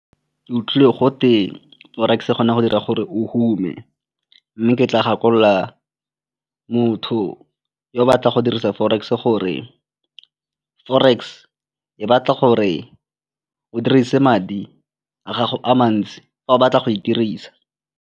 Ke utlwile gote forex e kgona go dira gore o hume mme ke tla gakolola motho yo o batla go dirisa forex gore forex e batla gore o dirise madi a gago a mantsi fa o batla go e dirisa.